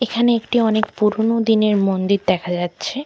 এখানে একটি অনেক পুরোনো দিনের মন্দির দেখা যাচ্ছে।